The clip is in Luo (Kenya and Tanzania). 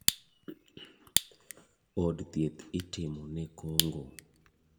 Od thieth itimo ne kong'o.